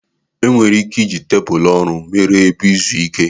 E nwere ike iji tebụlu ọrụ mere ebe izu ike.